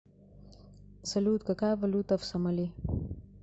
салют какая валюта в сомали